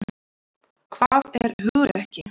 Hvað er hugrekki?